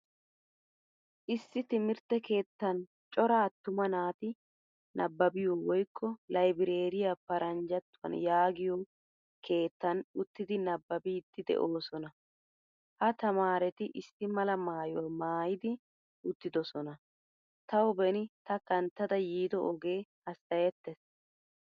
Issi timirttee keettan cora attuma naati nabbabbiyo woykko librariyaa paranjjattuwan yaagiyo keettan uttidi nabbabbidi deosona. Ha tamaaretti issi mala maayuwaa maayidi uttidosona, Tawu beni ta kanttada yiido oge hassayettees.